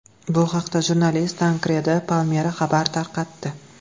Bu haqda jurnalist Tankredi Palmeri xabar tarqatdi .